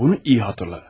Bunu yaxşı xatırla.